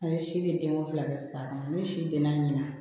An ye si denko fila kɛ sisan ne si tɛ na ɲɛna